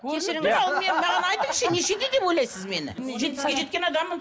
кешіріңіз маған айтыңызшы нешеде деп ойлайсыз мені жетпіске жеткен адаммын